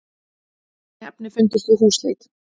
Fíkniefni fundust við húsleit